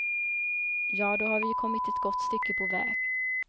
Ja, då har vi ju kommit ett gott stycke på väg.